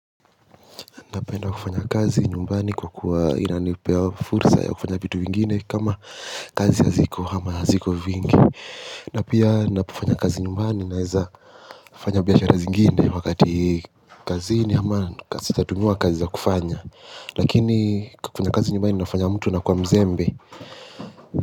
Napenda kufanya kazi nyumbani kwa kuwa inanipea fursa ya kufanya vitu vingine kama kazi haziko hama haziko vingi. Napia napofanya kazi nyumbani naeza fanya biashara zingine wakati kazini ama ka sitatumiwa kazi za kufanya lakini kufanya kazi nyumbani inafanya mtu anakuwa mzembe.